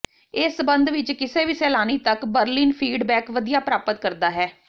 ਇਸ ਸਬੰਧ ਵਿਚ ਕਿਸੇ ਵੀ ਸੈਲਾਨੀ ਤੱਕ ਬਰ੍ਲਿਨ ਫੀਡਬੈਕ ਵਧੀਆ ਪ੍ਰਾਪਤ ਕਰਦਾ ਹੈ